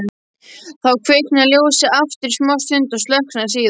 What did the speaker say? Þá kviknaði ljósið aftur í smástund og slökknaði síðan.